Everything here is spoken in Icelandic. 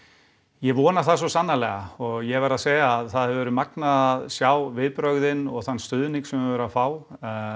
ég vona það svo sannarlega og ég verð að segja að það hefur verið magnað að sjá viðbrögðin og þann stuðning sem við höfum verið að fá